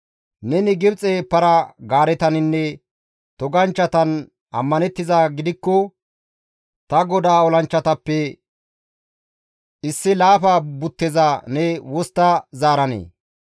Neni Gibxe para-gaaretaninne toganchchatan ammanettizaa gidikko ta godaa olanchchatappe issi laafa butteza ne wostta zaaranee?